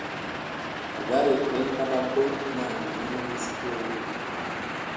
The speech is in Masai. Athari enkatampoi naa ninye nemesipi oleng.